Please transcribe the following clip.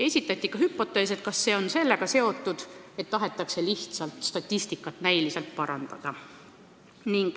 Esitati ka hüpotees: see võib olla seotud sellega, et tahetakse lihtsalt statistikat näiliselt parandada.